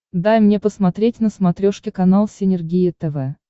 дай мне посмотреть на смотрешке канал синергия тв